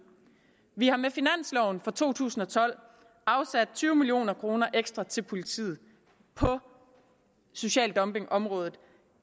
vi har med finansloven for to tusind og tolv afsat tyve million kroner ekstra til politiet på social dumping området